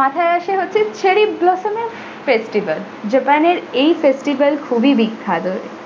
মাথায় আসে হচ্ছে cherry blossom এর festival japan এর এই festival খুবই বিখ্যাত।